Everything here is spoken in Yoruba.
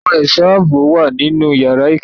Àwọn ẹ̀ṣọ́ ààbò wà nínú yàrá ìkẹ́kọ̀ọ́.